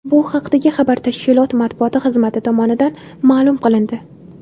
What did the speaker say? Bu haqdagi xabar tashkilot matbuot xizmati tomonidan ma’lum qilindi .